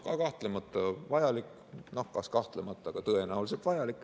Ka kahtlemata vajalik, kas kahtlemata, aga tõenäoliselt vajalik.